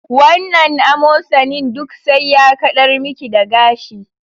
Wannan amosanin duk sai ya kaɗar miki da gashi